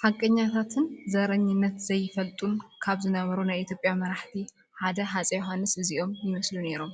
ሓቀኛታትን ዘረኝነት ዘይፈልጡን ካብ ዝነበሩ ናይ ኢ/ያ መራሕቲ ሓደ ሃፀይ ዮሃንስ እዚኦም ይመስሉ ኔሮም፡፡